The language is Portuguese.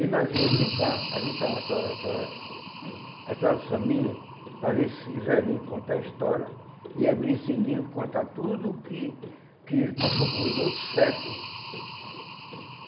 E nós íamos brincar, juntar aquela aquela aquelas família, para ver esses velhinhos contar a história, e abrir esse livro, contar tudo que que passou pelos outros séculos.